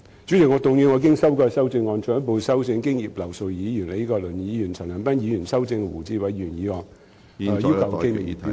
主席，我動議我經修改的修正案，進一步修正經葉劉淑儀議員、李國麟議員及陳恒鑌議員修正的胡志偉議員議案。